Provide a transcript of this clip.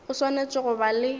o swanetše go ba le